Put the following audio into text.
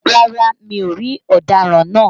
Rárá mi ò rí ọ̀daràn náà